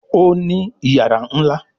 Òní iyàrá nlá.